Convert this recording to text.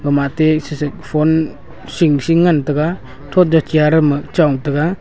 ama atey sisai phone sing- sing le ngan taga thotda chair dam ma chong taga.